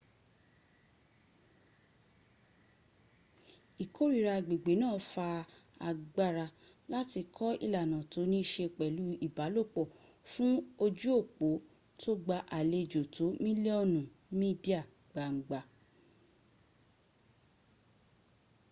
ìkórira agbègbè náà fa agbára láti kọ ìlànà tó ní ṣe pẹ̀lú ìbálòpọ́ fún ojú òpó tó gba àlejò tó mílíọ́nù mídíà gbangba